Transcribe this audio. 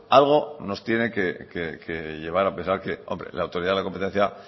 algo nos tiene que llevar a pensar que la autoridad de la competencia